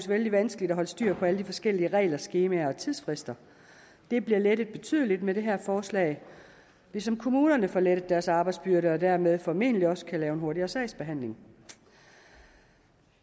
vældig vanskeligt at holde styr på alle de forskellige regler skemaer og tidsfrister det bliver lettet betydeligt med det her forslag ligesom kommunerne får lettet deres arbejdsbyrde og dermed formentlig også kan lave en hurtigere sagsbehandling